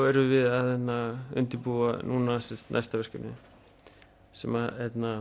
erum við að undirbúa næsta verkefni sem